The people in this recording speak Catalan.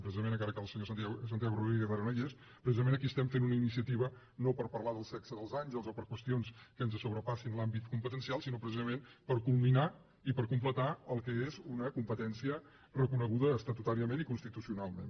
precisament encara que el senyor santiago rodríguez ara no hi és precisament aquí estem fent una inicia tiva no per parlar del sexe dels àngels o per qüestions que ens sobrepassin l’àmbit competencial sinó precisament per culminar i per completar el que és una competència reconeguda estatutàriament i constitucionalment